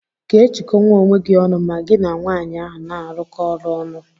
Iga ejikọnwụ onwe gi ọnụ ma gi n'nwanyi ahu n'arụkọ ọrụ ọnụ?